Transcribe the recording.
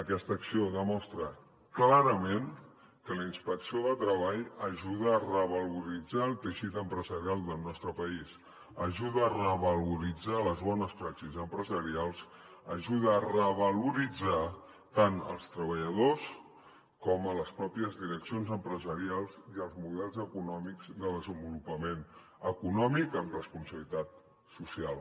aquesta acció demostra clarament que la inspecció de treball ajuda a revaloritzar el teixit empresarial del nostre país ajuda a revaloritzar les bones pràctiques empresarials ajuda a revaloritzar tant als treballadors com a les pròpies direccions empresarials i els models econòmics de desenvolupament econòmic amb responsabilitat social